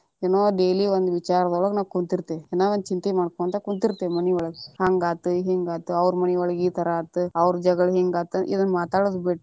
ಏನೊ daily ಒಂದ ವಿಚಾರದೊಳಗ ಕುಂತಿರತೇವಿ ಏನ ಒಂದ ಚಿಂತಿ ಒಳಗ ಕುಂತಿರ್ತೇವಿ ಮನಿಯೊಳಗ ಹಂಗ ಆತ ಹಿಂಗ್ ಆತ ಅವ್ರ ಮನಿಯೊಳಗ ಈ ತರಾ ಆತ ಅವ್ರ ಜಗಳ ಹಿಂಗ ಆತ ಇದನ್ನ ಮಾತಾಡುದ ಬಿಟ್ಟ.